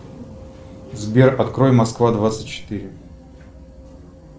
сбер открой москва двадцать четыре